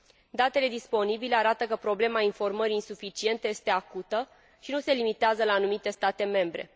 Datele disponibile arată că problema informării insuficiente este acută, și nu se limitează la anumite state membre.